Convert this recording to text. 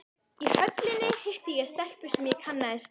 Í Höllinni hitti ég stelpu sem ég kannaðist við.